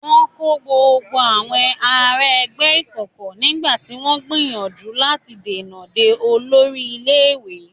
Wọn kó gbogbo àwọn ará ẹgbẹ́ ìkọ̀kọ̀ nígbà tí wọ́n ń gbìyànjú láti dènà de olórí ilé-ìwé.